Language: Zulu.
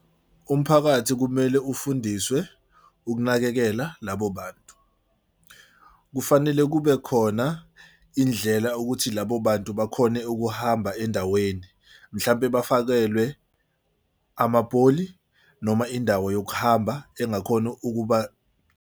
Umphakathi kumele ufundiswe ukunakekela labo bantu. Kufanele kube khona indlela ukuthi labo bantu bakhone ukuhamba endaweni. Mhlampe bafakelwe amabholi noma indawo yokuhamba engakhona ukuba.